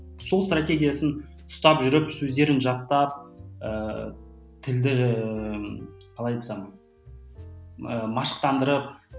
сол стратегиясын ұстап жүріп сөздерін жаттап ііі тілді ііі қалай айтсам і машықтандырып